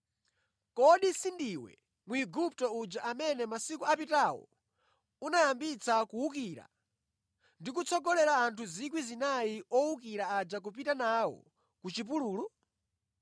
Kodi sindiwe Mwigupto uja amene masiku apitawo unayambitsa kuwukira ndi kutsogolera anthu 4,000 owukira aja nʼkupita nawo ku chipululu?”